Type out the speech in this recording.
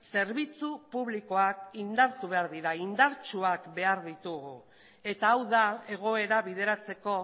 zerbitzu publikoak indartu behar dira indartsuak behar ditugu eta hau da egoera bideratzeko